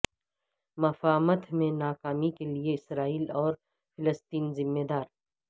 مفاہمت میں ناکامی کے لئے اسرائیل اور فلسطین ذمہ دار